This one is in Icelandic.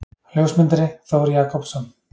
Ljósmyndari: Þór Jakobsson.